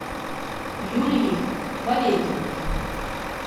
юлией валерьевной